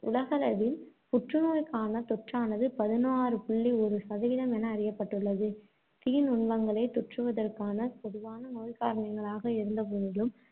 உலகளவில் புற்றுநோய்க்கான தொற்றானது பதினாறு புள்ளி ஒரு சதவீதம் என அறியப்பட்டுள்ளது. தீ நுண்மங்களே தொற்றுவதற்கான பொதுவான நோய்க்காரணிகளாக இருந்தபோதிலும்,